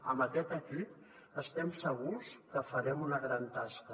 amb aquest equip estem segurs que farem una gran tasca